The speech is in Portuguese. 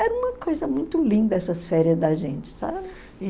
Era uma coisa muito linda essas férias da gente, sabe?